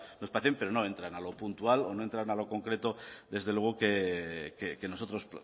nos parece pero no entran a lo puntual o no entran a lo concreto desde luego que nosotros